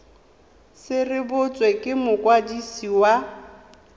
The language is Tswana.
se rebotswe ke mokwadisi wa